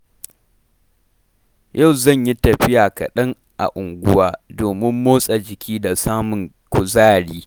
Yau zan yi tafiya kaɗan a unguwa domin motsa jiki da samun kuzari.